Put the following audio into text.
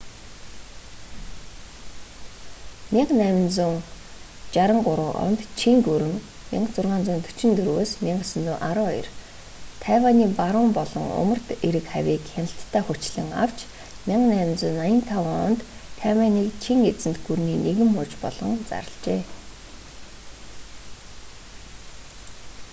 1683 онд чин гүрэн 1644-1912 тайванийн баруун болон умард эрэг хавийг хяналтдаа хүчлэн авч 1885 онд тайванийг чин эзэнт гүрний нэгэн муж болгон зарлажээ